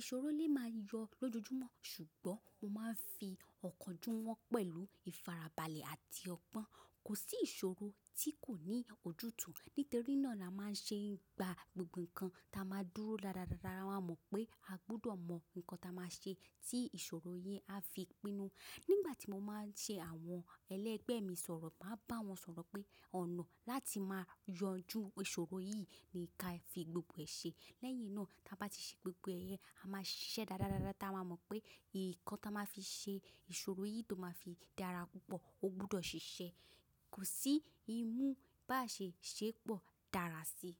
Ìṣòro lè máa yọ lójoojúmọ́ ṣùgbọ́n mo máa ń fi ọ̀kánjúmọ́ pẹ̀lú ìfarabalẹ̀ àti ọgbọ́n. Kò sí ìṣòro tí kò ní ojútùú. Nítorí náà la máa ń ṣe ń gba gbogbo nǹkan ta máa dúró dáadáa, lára mọ̀ pé a gbọdọ̀ mọ̀ nǹkan tí a máa ṣe tí ìṣòro yẹn á fi pinnu. Nígbà tí mo máa ń ṣe àwọn ẹlẹgbẹ́ mi sọ̀rọ̀, màá bá wọn sọ̀rọ̀ pé ọ̀nà láti máa yanjú ìṣòro yìí ni kí a fi gbogbo ẹ ṣe. Lẹ́yìn náà, tí a bá ti ṣe gbogbo ẹ̀yẹn, a máa ṣiṣẹ́ dáadáa, tama mọ̀ pé nǹkan tí a máa fi ṣe ìṣòro yìí tó máa fi dára púpọ̀, ó gbudọ̀ ṣiṣẹ́. Kò sí imú bá ṣe ṣé pọ̀, dára sí i.